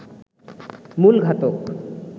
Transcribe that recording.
মূল ঘাতক